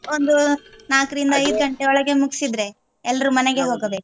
ಒಂದು ನಾಲ್ಕ್ರಿಂದ ಐದು ಗಂಟೆ ಒಳಗೆ ಮುಗ್ಸಿದ್ರೆ ಆಯ್ತು ಎಲ್ಲರೂ ಮನೆಗೆ ಹೋಗ್ಬೇಕಲ್ಲ .